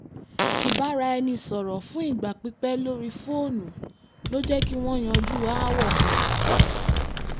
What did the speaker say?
ìbáraẹnisọ̀rọ̀ fún ìgbà pípẹ́ lórí fóònù ló jẹ́ kí wọ́n yanjú aáwọ̀ kan